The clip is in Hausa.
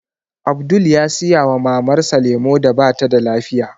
Abdul ya saya wa Mamar sa lemu da batada lafiya